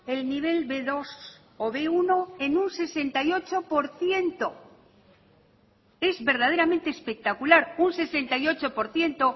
el nivel be dos o be uno en un sesenta y ocho por ciento es verdaderamente espectacular un sesenta y ocho por ciento